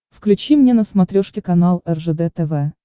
включи мне на смотрешке канал ржд тв